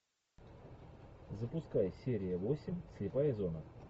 запускай серия восемь слепая зона